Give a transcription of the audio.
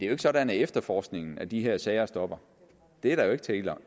er sådan at efterforskningen af de her sager stopper det er der jo ikke tale